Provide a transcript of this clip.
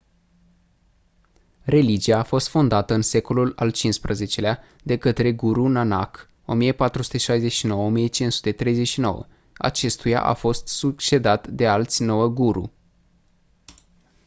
religia a fost fondată în secolul al xv-lea de către guru nanak 1469-1539. acestuia a fost succedat de alți nouă guru